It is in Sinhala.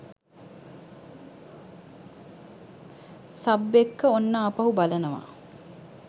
සබ් එක්ක ඔන්න ආපහු බලනවා.